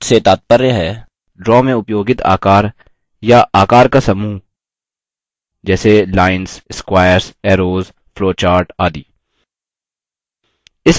object से तात्पर्य है draw में उपयोगित आकार या आकार का समूह जैसे lines squares arrows flowcharts आदि